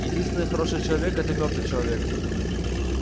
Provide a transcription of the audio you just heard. единственный хороший человек это мёртвый человек